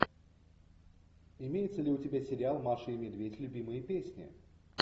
имеется ли у тебя сериал маша и медведь любимые песни